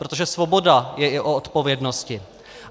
Protože svoboda je i o odpovědnosti.